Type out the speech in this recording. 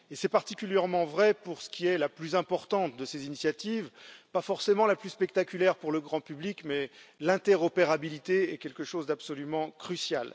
C'est particulièrement vrai pour la plus importante de ces initiatives, qui n'est pas forcément la plus spectaculaire pour le grand public l'interopérabilité, qui est quelque chose d'absolument crucial.